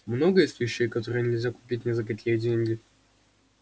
много есть вещей которые нельзя купить ни за какие деньги